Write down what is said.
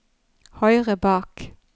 høyre bak